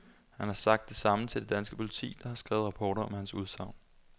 Han har sagt det samme til det danske politi, der har skrevet rapporter om hans udsagn.